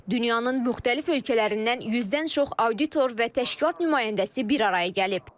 Dünyanın müxtəlif ölkələrindən 100-dən çox auditor və təşkilat nümayəndəsi bir araya gəlib.